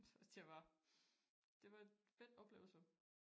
Så det var det var et fedt oplevelse